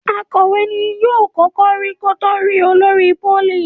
Akòwé ní yóò kókó rí kò to lẹ rí olórí polí.